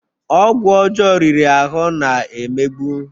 Ọgwụ ọjọọ riri ahụ na-egbu